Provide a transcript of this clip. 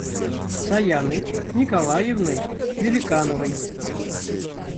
саяной николаевной великановой